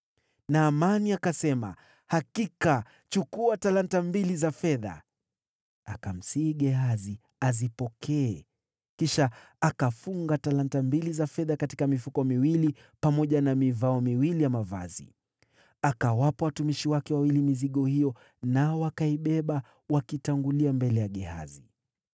Naamani akasema, “Hakika, chukua talanta mbili za fedha.” Akamsihi Gehazi azipokee, kisha akafunga talanta mbili za fedha katika mifuko miwili pamoja na mivao miwili ya mavazi. Akawapa watumishi wake wawili mizigo hiyo, nao wakaibeba wakitangulia mbele ya Gehazi.